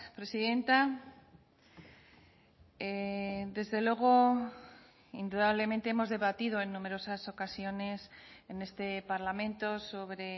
presidenta desde luego indudablemente hemos debatido en numerosas ocasiones en este parlamento sobre